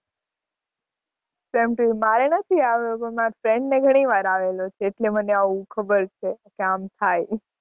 same to you મારે નથી આયો પણ માર friend ને ઘણી વાર આવેલો છે એટલે મને ખબર આવું ખબર છે કે આમ થાય.